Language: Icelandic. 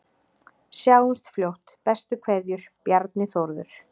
Sjáumst fljótt, bestu kveðjur: Bjarni Þórður